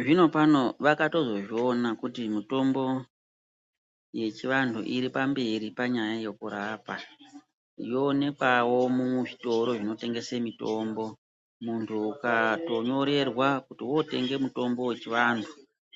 Zvinopano vakatozozviona kuti mutombo yechivantu iripamberi panyaya yokurapa. Yoonekwawo muzvitoro zvinotengese mitombo. Muntu ukatonyorerwa kuti wootenge mutombo wechivantu,